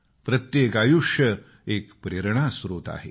प्रत्येक आयुष्य एक प्रेरणा स्त्रोत आहे